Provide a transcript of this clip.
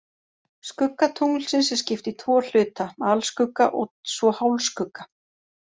Skugga tunglsins er skipt í tvo hluta, alskugga og svo hálfskugga.